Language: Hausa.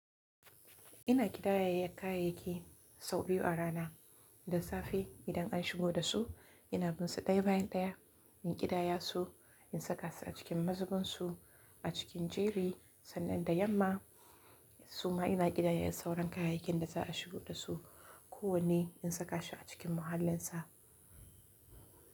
Ina ƙidayayyar kayayyaki sau biyu a rana. Da safe idan an shigo da su ina bin su ɗaya bayan ɗaya, in ƙidaya su, in saka su a cikin mazugunsu a cikin jeri sannan da yamma suma ina ƙidayayyar sauran kayayyakin da za a shigo da su kowane in saka shi a cikin mahallinsa.